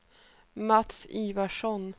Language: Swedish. Mats Ivarsson